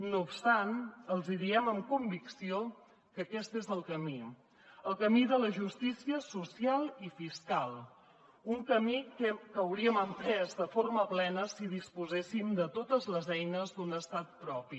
no obstant els diem amb convicció que aquest és el camí el camí de la justícia social i fiscal un camí que hauríem emprès de forma plena si disposessin de totes les eines d’un estat propi